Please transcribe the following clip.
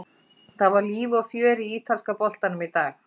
Það var líf og fjör í ítalska boltanum í dag.